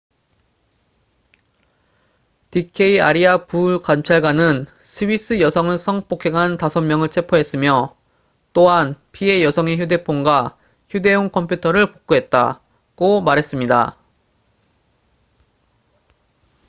"d k 아리아 부감찰관은 "스위스 여성을 성폭행한 5명을 체포했으며 또한 피해 여성의 휴대폰과 휴대용 컴퓨터를 복구했다""고 말했습니다.